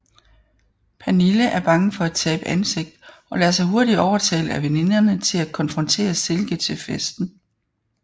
Pernille er bange for at tabe ansigt og lader sig hurtigt overtale af veninderne til at konfrontere Silke til festen